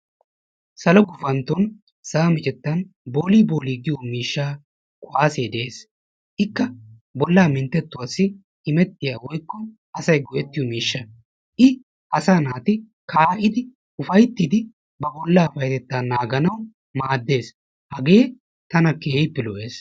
Salo gufantton sa"a micettan boolii boolee giyo miishshaa kuwaasee de"es. Ikka bollaa minttettuwassi imettiya woykko asayi go"ettiyo miishsha I asaa naati kaa"idi ufayttidi ba bollaa payyatettaa naaganawu maaddes. Hagee tana keehippe lo"ees.